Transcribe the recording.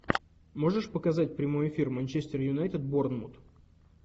можешь показать прямой эфир манчестер юнайтед борнмут